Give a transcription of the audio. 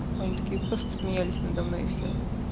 они такие просто смеялись надо мной и всё